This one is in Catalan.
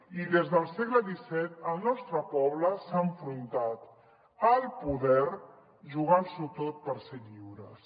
i des del segle xvii el nostre poble s’ha enfrontat al poder jugant s’ho tot per ser lliures